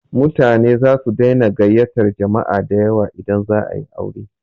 Mutane zasu daina gayyatar jama'a dayawa idan za a yi aure.